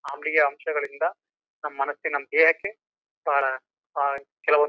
ಅಂಳಿಯ ಅಂಶಗಳಿಂದ ನಮ್ಮ ಮನಸಿನ ದೇಹಕ್ಕೆ ಕೆಲವೊಂದ್--